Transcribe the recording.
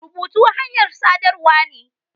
Rubutu hanyar saɗarwa ne.